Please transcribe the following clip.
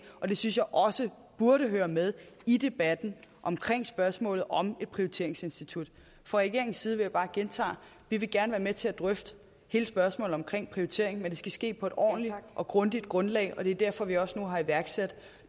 og det synes jeg også burde høre med i debatten om spørgsmålet om et prioriteringsinstitut fra regeringens side vil jeg bare gentage at vi gerne vil være med til at drøfte hele spørgsmålet om prioritering men det skal ske på et ordentligt og grundigt grundlag og det er derfor at vi også nu har iværksat